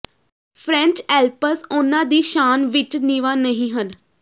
French Alps ਉਨ੍ਹਾਂ ਦੀ ਸ਼ਾਨ ਵਿਚ ਨੀਵਾਂ ਨਹੀਂ ਹਨ